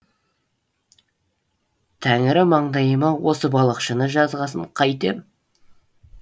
тәңірі маңдайыма осы балықшыны жазғасын қайтем